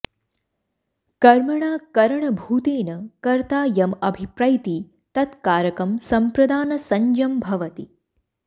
कर्मणा करणभूतेन कर्ता यम् अभिप्रैति तत् कारकं सम्प्रदानसंज्ञं भवति